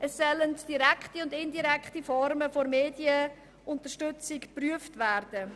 Es sollen direkte und indirekte Formen der Medienunterstützung geprüft werden.